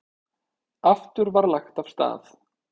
Aftur var lagt af stað.